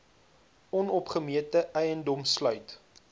onopgemete eiendom sluit